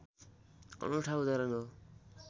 अनुठा उदाहरण हो